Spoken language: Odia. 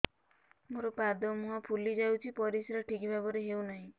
ମୋର ପାଦ ମୁହଁ ଫୁଲି ଯାଉଛି ପରିସ୍ରା ଠିକ୍ ଭାବରେ ହେଉନାହିଁ